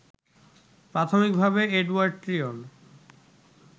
প্রাথমিকভাবে এডোয়ার্ড ট্রিয়ন